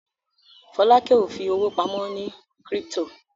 Folake o fí owo pàmò ní crypto.